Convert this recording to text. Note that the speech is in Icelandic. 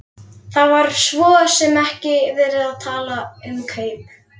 Það var svo sem ekki verið að tala um kaup.